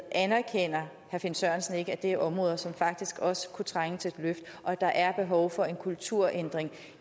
anerkender herre finn sørensen ikke at de er områder som faktisk også kunne trænge til et løft og at der er behov for en kulturændring